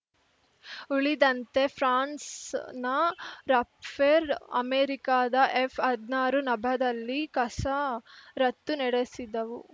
ಉಳಿದಂತೆ ಫ್ರಾನ್ಸ್‌ನ ರಫೇರ್ ಅಮೆರಿಕದ ಎಫ್‌ಹದ್ನಾರು ನಭದಲ್ಲಿ ಕಸರತ್ತು ನಡೆಸಿದವು